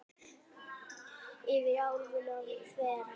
Yfir álfuna þvera